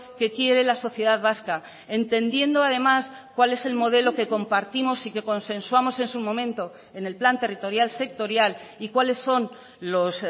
que quiere la sociedad vasca entendiendo además cuál es el modelo que compartimos y que consensuamos en su momento en el plan territorial sectorial y cuáles son los